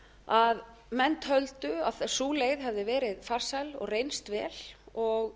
að menn töldu að sú leið hefði verið farsæl og reynst vel og